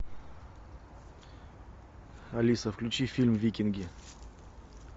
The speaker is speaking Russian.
алиса включи фильм викинги